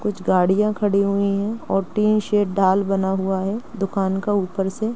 कुछ गाड़ियां खड़ी हुई हैं और टिन शेड ढाल बना हुआ है दुकान का ऊपर से।